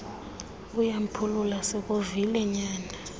uyamphulula sikuvile nyana